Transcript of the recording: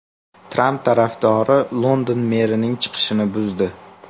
Tramp tarafdorlari London merining chiqishini buzdi.